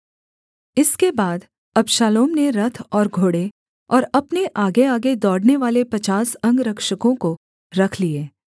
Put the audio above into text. इसके बाद अबशालोम ने रथ और घोड़े और अपने आगेआगे दौड़नेवाले पचास अंगरक्षकों रख लिए